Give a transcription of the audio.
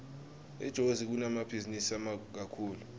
etozi kunemabhizinisi kakhulu